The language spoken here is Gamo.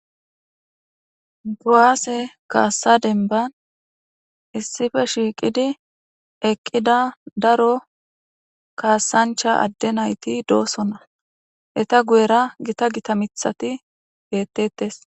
Kuwaase kaassa denban issife shiiqidi eqqida daro kaassancha adde nayti doosona eta guyera gita gita mithati beettettes